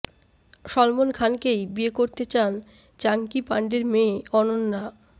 সলমন খানকেই বিয়ে করতে চান চাঙ্কি পান্ডের মেয়ে অনন্যা